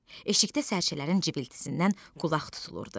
Eşikdə sərçələrin cıbıltısından qulaq tutulurdu.